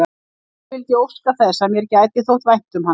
Samt vildi ég óska þess, að mér gæti þótt vænt um hann.